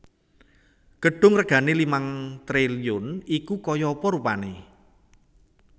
Gedung regane limang triliun iku koyok apa rupane